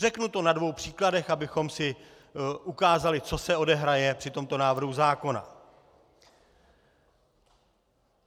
Řeknu to na dvou příkladech, abychom si ukázali, co se odehraje při tomto návrhu zákona.